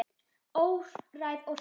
Óræð orka.